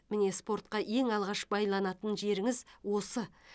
міне спортқа ең алғаш байланатын жеріңіз осы